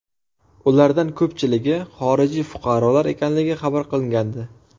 Ulardan ko‘pchiligi xorijiy fuqarolar ekanligi xabar qilingandi.